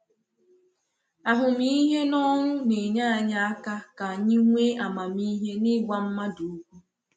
Ahụmịhe n’ọrụ na-enyé anyị aka ka anyị nwee amamihe n’ịgwa mmadụ okwu.